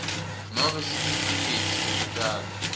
nobe sitifiketi sekutalwa